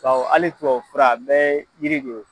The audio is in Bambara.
Kaw hali tubabu fura a bɛ ye jiri de ye.